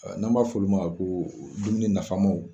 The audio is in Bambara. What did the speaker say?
N'an b'a f'olu ma ko dumuni nafamaw